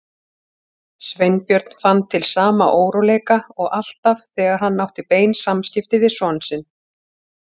Sveinbjörn fann til sama óróleika og alltaf þegar hann átti bein samskipti við son sinn.